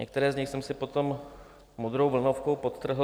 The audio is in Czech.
Některé z nich jsem si potom modrou vlnovkou podtrhl.